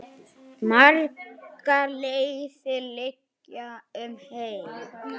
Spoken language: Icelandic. Margar leiðir liggja um heim.